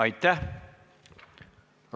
Aitäh!